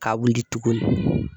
Ka wili tuguni